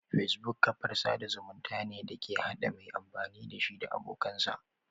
Facebook kafar sada zumunta ne da ke hada mai amfani dashi da abokansa